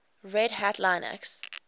red hat linux